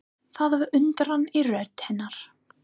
Það var undrun í rödd hennar.